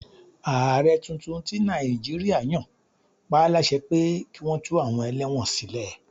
Ààrẹ tuntun tí Nàìjíríà yan pá láṣẹ pé kí wọn tú àwọn ẹlẹ́wọ̀n sílẹ̀.